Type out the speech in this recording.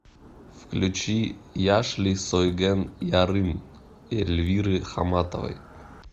включи яшьли сойгэн ярым эльвиры хамматовой